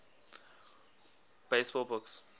baseball books